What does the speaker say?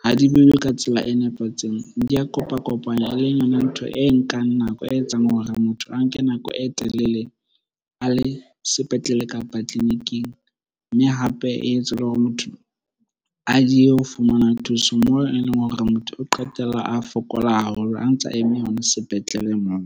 ha di behwe ka tsela e nepahetseng. Di a kopa-kopanywa e leng yona ntho e nkang nako, e etsang hore motho a nke nako e telele a le sepetlele, kapa tleliniking. Mme hape e etsa le hore motho a diehe ho fumana thuso moo e leng hore motho o qetella a fokola haholo a ntsa eme hona sepetlele moo.